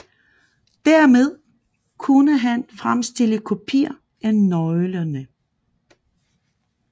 Dermed kunne han fremstille kopier af nøglerne